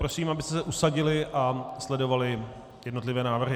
Prosím, abyste se usadili a sledovali jednotlivé návrhy.